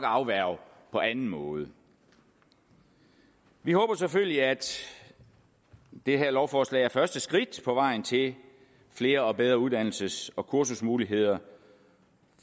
afværge på anden måde vi håber selvfølgelig at det her lovforslag er første skridt på vejen til flere og bedre uddannelses og kursusmuligheder